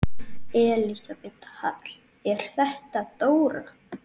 Elísabet Hall: Er þetta dóra?